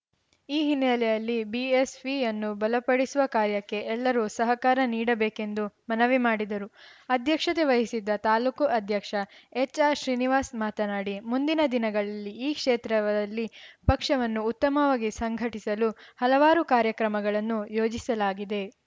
ಈ ಹಿನ್ನೆಲೆಯಲಲ್ಲಿ ಬಿಎಸ್‌ವಿಯನ್ನು ಬಲಪಡಿಸುವ ಕಾರ್ಯಕ್ಕೆ ಎಲ್ಲರೂ ಸಹಕಾರ ನೀಡಬೇಕೆಂದು ಮನವಿ ಮಾಡಿದರು ಅಧ್ಯಕ್ಷತೆ ವಹಿಸಿದ್ದ ತಾಲೂಕು ಅಧ್ಯಕ್ಷ ಎಚ್‌ಆರ್‌ ಶ್ರೀನಿವಾಸ್‌ ಮಾತನಾಡಿ ಮುಂದಿನ ದಿನಗಳಲ್ಲಿ ಈ ಕ್ಷೇತ್ರವಲ್ಲಿ ಪಕ್ಷವನ್ನು ಉತ್ತಮವಾಗಿ ಸಂಘಟಿಸಲು ಹಲವಾರು ಕಾರ್ಯಕ್ರಮಗಳನ್ನು ಯೋಜಿಸಲಾಗಿದೆ